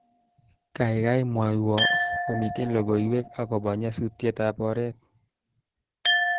Kaikai mwowo komitien logoiwek akobo nyasutetab oret